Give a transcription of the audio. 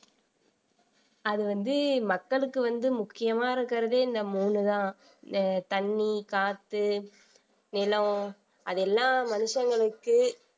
அது வந்து மக்களுக்கு வந்து முக்கியமா இருக்கிறதே இந்த மூணுதான் தண்ணி, காத்து, நிலம் அதெல்லாம் மனுஷங்களுக்கு